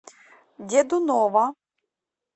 дедунова